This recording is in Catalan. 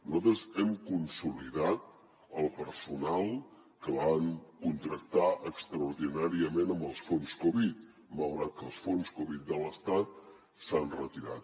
nosaltres hem consolidat el personal que van contractar extraordinàriament amb els fons covid malgrat que els fons covid de l’estat s’han retirat